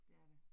Det er det